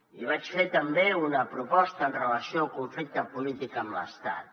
i vaig fer també una proposta amb relació al conflicte polític amb l’estat